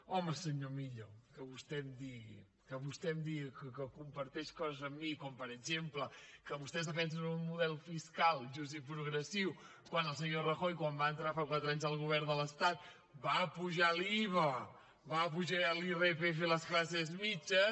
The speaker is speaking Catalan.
home senyor millo que vostè em digui que vostè em digui que comparteix coses amb mi com per exemple que vostès defensen un model fiscal just i progressiu quan el senyor rajoy quan va entrar fa quatre anys al govern de l’estat va apujar l’iva va apujar l’irpf a les classe mitjanes